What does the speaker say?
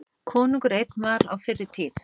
Konungur einn var á fyrri tíð.